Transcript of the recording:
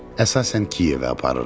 Əsasən Kiyevə aparırıq.